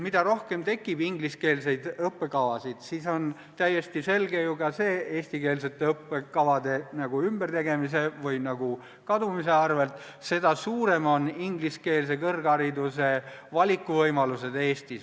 Mida rohkem ingliskeelseid õppekavasid eestikeelsete õppekavade ümbertegemise või kadumise arvel tekib, seda suuremad on Eestis ingliskeelse kõrghariduse valikuvõimalused.